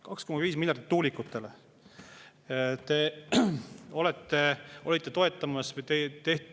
2,5 miljardit tuulikutele!